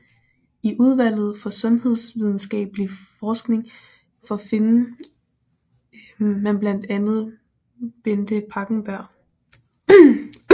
I Udvalget for Sundhedsvidenskabelig Forskning for finde man blandt andet Bente Pakkenberg